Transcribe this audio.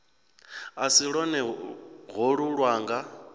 a si lwone holu lwanga